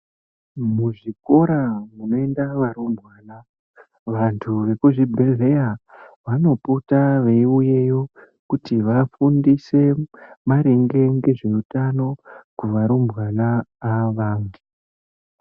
Muzvikora munoinda varumbwana, vantu vekuzvibhehleya vanopota veiuyeyo kuti vafundise maringe ngezveutano kuva rumbwana ava.